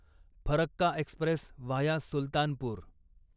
Farakka express via Sultanpur